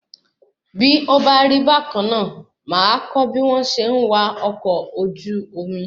Bí ó bá rí bákanná, máa a kọ́ bí wọn ṣe ń wá ọkọ̀ ojú omi